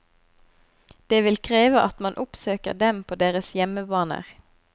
Det vil kreve at man oppsøker dem på deres hjemmebaner.